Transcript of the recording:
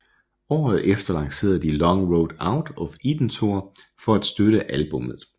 Året efter lancerede de Long Road Out of Eden Tour for at støtte albummet